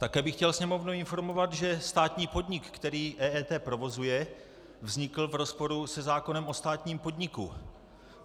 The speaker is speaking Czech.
Také bych chtěl Sněmovnu informovat, že státní podnik, který EET provozuje, vznikl v rozporu se zákonem o státním podniku.